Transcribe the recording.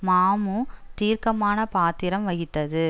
மமு தீர்க்கமான பாத்திரம் வகித்தது